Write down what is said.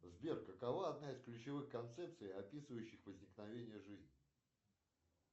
сбер какова одна из ключевых концепций описывающих возникновение жизни